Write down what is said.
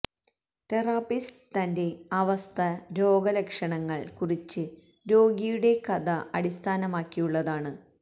therapist തന്റെ അവസ്ഥ രോഗം ലക്ഷണങ്ങൾ കുറിച്ച് രോഗിയുടെ കഥ അടിസ്ഥാനമാക്കിയുള്ളതാണ്